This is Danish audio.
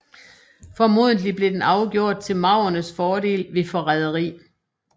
Formodentlig blev den afgjort til maurernes fordel ved forræderi